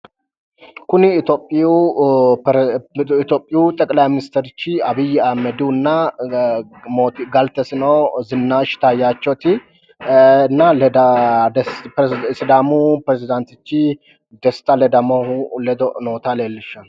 Kuni itphiyuu xeqilayi ministerichi Abiyi ahimedihunna galtesino Zinaash Taayaachoti nna sidaamu pirezidaantichi Desta Ledamohu ledo noota leellishshanno.